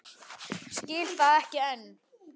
Skil það ekki enn.